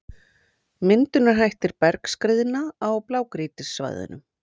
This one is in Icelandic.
Myndunarhættir bergskriðna á blágrýtissvæðunum.